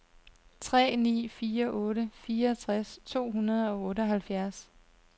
tre ni fire otte fireogtres to hundrede og otteoghalvfjerds